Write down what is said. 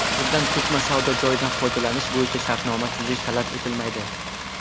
Bunda ko‘chma savdo joyidan foydalanish bo‘yicha shartnoma tuzish talab etilmaydi.